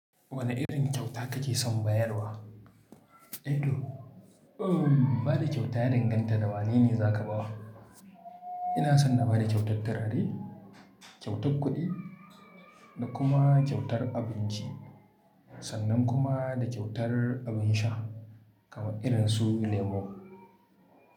Wane irin kyauta kake son bayarwa? Eto, ba da kyauta ya danganta da wane ne za ka bawa. Ina so na ba da kyautar turare, kyautar kuɗi da kuma kyautar abinci sannan kuma da kyautar abin sha kamar irin su lemo.